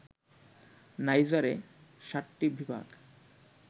নাইজারে ৭টি বিভাগ